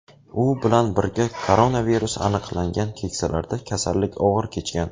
U bilan birga koronavirus aniqlangan keksalarda kasallik og‘ir kechgan.